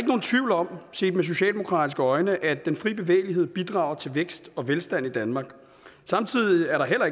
set med socialdemokratiske øjne at den frie bevægelighed bidrager til vækst og velstand i danmark samtidig er der heller